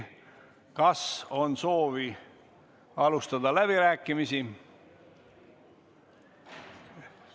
Kas on soovi alustada läbirääkimisi?